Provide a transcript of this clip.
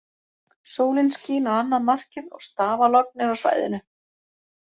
Sólin skín á annað markið og stafalogn er á svæðinu.